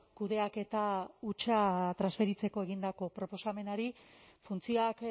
kudeaketa hutsa transferitzeko egindako proposamenari funtzioak